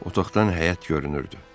Otaqdan həyət görünürdü.